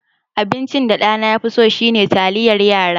Abincin da ɗana ya fi so shine taliyar yara.